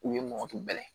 U ye mɔgɔ tulo ye